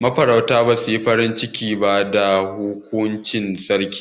Ma farautan basu yi farin ciki ba da hukuncin Sarkin.